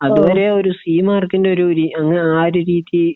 അതുവരെ ഒരു സി മാർക്കിന്റെ ഒരു രി അങ്ങനെ അഹ് ആ ഒരു രീതി